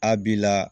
A b'i la